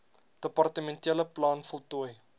departementele plan voltooi